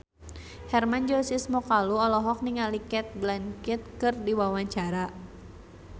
Hermann Josis Mokalu olohok ningali Cate Blanchett keur diwawancara